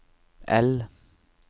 L